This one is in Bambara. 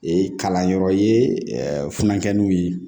Ee kalanyɔrɔ ye funukɛninw ye